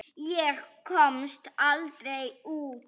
Ég komst aldrei út.